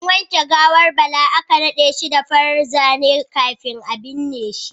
An wanke gawar Bala aka nade shi da farar zane kafin a binne shi.